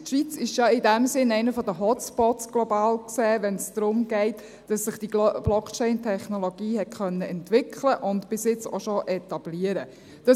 Die Schweiz ist ja in diesem Sinne global gesehen einer der Hot Spots, wenn es darum geht, dass sich diese BlockchainTechnologie entwickeln und bis jetzt auch schon etablieren konnte.